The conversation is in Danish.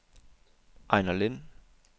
Ejnar Lind